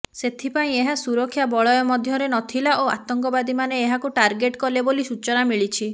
ସେଥିପାଇଁ ଏହା ସୁରକ୍ଷା ବଳୟ ମଧ୍ୟରେ ନଥିଲା ଓ ଆତଙ୍କବାଦୀମାନେ ଏହାକୁ ଟାର୍ଗେଟ କଲେ ବୋଲି ସୂଚନା ମିଳିିଛିି